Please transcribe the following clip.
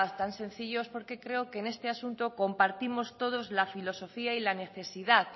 tan sencillo es porque creo que en este asunto compartimos todos la filosofía y la necesidad